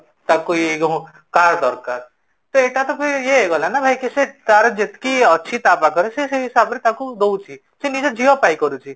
ତାକୁ ୟେ car ଦରକାର ତ ଏଟା ତ ଭାଇ ୟେ ହେଇଗଲା ନା ଭାଇ ତାର ଯେତିକି ଅଛି ତାର ତା ପାଖରେ ସେ ସେଇ ହିସାବ ରେ ତାକୁ ଦଉଛି ସେ ନିଜ ଝିଅ ପାଇଁ କରୁଛି